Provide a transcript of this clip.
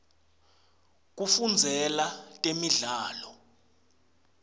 kufundzela temidlalo